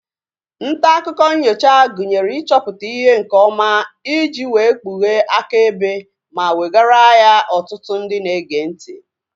Ntaakụkọ nnyocha gụnyere ịchọpụta ihe nke ọma iji wee kpughee akaebe ma wegara ya ọtụtụ ndị na-ege ntị